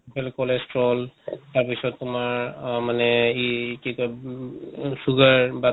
কল cholesterol তাৰ পিছত তোমাৰ অহ মানে ই কি কয় উম sugar বা